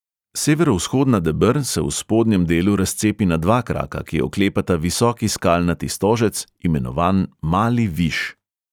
Severovzhodna deber se v spodnjem delu razcepi na dva kraka, ki oklepata visoki skalnati stožec, imenovan mali viš.